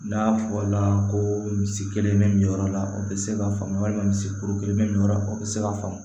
N'a fɔla ko misi kelen bɛ nin yɔrɔ la o bɛ se ka faamu walima misi kolo kelen bɛ nin yɔrɔ la o bɛ se ka faamu